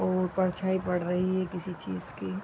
और परछाई पड़ रही है किसी चीज की।